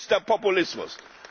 billigster Populismus